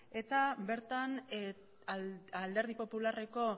eta bertan alderdi popularreko